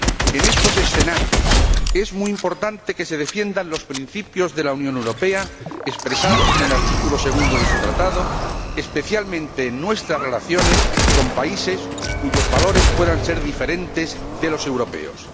En estos escenarios es muy importante que se defiendan los principios de la Unión Europea expresados en el artículo 2 de su Tratado, especialmente nuestras relaciones con países cuyos valores puedan ser diferentes de los europeos.